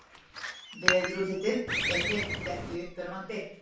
Veðurútlitið er hreint ekki uppörvandi.